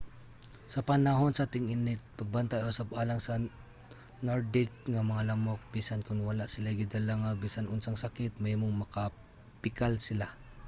sa panahon sa ting-init pagbantay usab alang sa nordic nga mga lamok. bisan kon wala silay gidala nga bisan unsang sakit mahimong makapikal sila